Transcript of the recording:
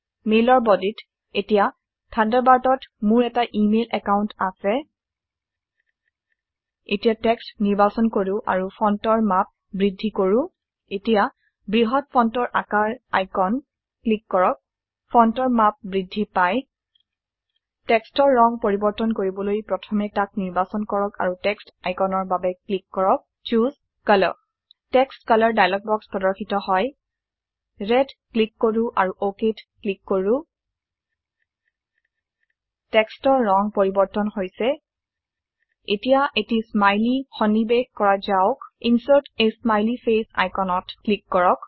মেইলৰ বদিত এতিয়া থান্ডাৰবাৰ্ডত মোৰ এটা ইমেইল একাউন্ট আছে এতিয়া টেক্সট নিৰ্বাচন কৰো আৰু ফন্টৰ মাপ বৃদ্ধি কৰো এতিয়া বৃহত্ত ফন্টৰ আকাৰ আইচন ক্লিক কৰকফন্টৰ মাপ বৃদ্ধি পায় টেক্সট ৰ ৰং পৰিবৰ্তন কৰিবলৈ প্ৰথমে তাক নিৰ্বাচন কৰক আৰু টেক্সট আইকনৰ বাবে ক্লিক কৰক ছোজ কালাৰ টেক্সট ৰং ডায়লগ বক্স প্ৰদৰ্শিত হয় ৰেদ ক্লিক কৰো আৰু ওকেত ক্লিক কৰো টেক্সট ৰ ৰং পৰিবৰ্তন হৈছে এতিয়া এটি স্মাইলি সন্নিবেশ কৰা যাওক insert a smiley face icon ত ক্লিক কৰক